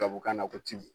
Tubabukan na ko tibu